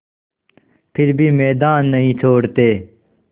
फिर भी मैदान नहीं छोड़ते